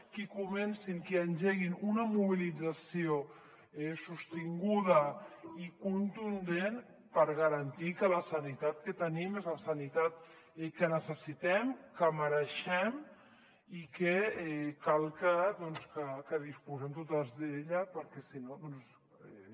qui comencin qui engeguin una mobilització sostinguda i contundent per garantir que la sanitat que tenim és la sanitat que necessitem que mereixem i que cal que disposem totes d’ella perquè si no doncs